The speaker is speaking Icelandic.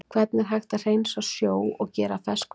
Hvernig er hægt að hreinsa sjó og gera að ferskvatni?